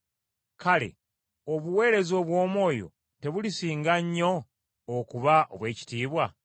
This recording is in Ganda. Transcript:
kale obuweereza obw’omwoyo tebulisinga nnyo okuba obw’ekitiibwa?